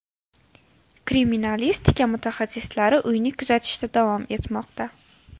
Kriminalistika mutaxassislari uyni kuzatishda davom etmoqda.